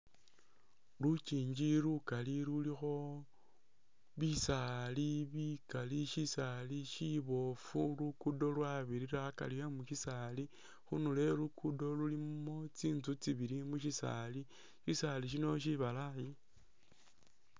Lukingi lukali lulikho bisaali bikali shisaali shiboofu lukudo lwabirira akari e'musisaali, khundulo e'lugudo lulimo tsinzu tsibili musisaali, shisaali sbino shibalayi